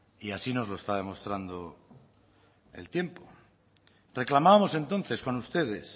y así nos lo está demostrando el tiempo reclamábamos entonces con ustedes